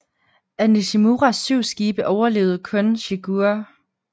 Af Nishimuras syv skibe overlevede kun Shigure